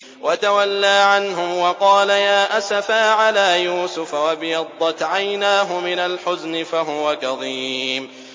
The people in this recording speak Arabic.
وَتَوَلَّىٰ عَنْهُمْ وَقَالَ يَا أَسَفَىٰ عَلَىٰ يُوسُفَ وَابْيَضَّتْ عَيْنَاهُ مِنَ الْحُزْنِ فَهُوَ كَظِيمٌ